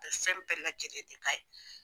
A ye fɛn bɛɛ la jɛlen de k'a ye.